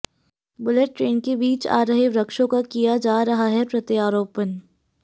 bullet train के बीच आ रहे वृक्षों का किया जा रहा है प्रत्यारोपण